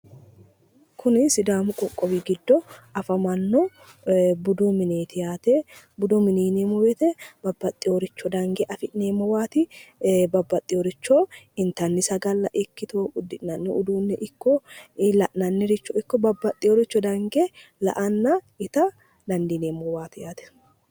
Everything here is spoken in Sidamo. Kuni sidaamu qoqqowi giddo afamanno budu mineeti yaate. Budu mineeti yineemmo woyte babbaxino uduunnicho dange afi'neemmowaati babbaxino richo intannire ikko angannire ikko la'nanniricho babbaxinore dange la'anna ita dandineemmowaati yaate.